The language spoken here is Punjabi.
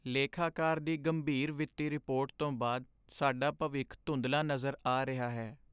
ਲੇਖਾਕਾਰ ਦੀ ਗੰਭੀਰ ਵਿੱਤੀ ਰਿਪੋਰਟ ਤੋਂ ਬਾਅਦ ਸਾਡਾ ਭਵਿੱਖ ਧੁੰਦਲਾ ਨਜ਼ਰ ਆ ਰਿਹਾ ਹੈ।